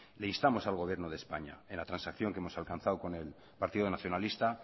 le instamos al gobierno de españa en la transacción que hemos alcanzado con el partido nacionalista